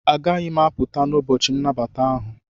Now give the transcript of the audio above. Agaghị m apụta n'ụbọchị nnabata ahụ.